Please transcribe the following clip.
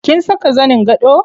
Kin saka zanin gado?